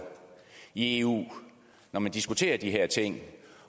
i eu når man diskuterer de her ting